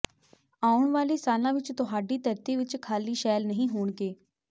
ਆਉਣ ਵਾਲੇ ਸਾਲਾਂ ਵਿੱਚ ਤੁਹਾਡੀ ਧਰਤੀ ਵਿੱਚ ਖਾਲੀ ਸ਼ੈੱਲ ਨਹੀਂ ਹੋਣਗੇ